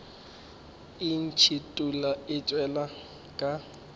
e ntšhithola e tšwela ka